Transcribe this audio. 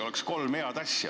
Oleks kolm head eelnõu saanud.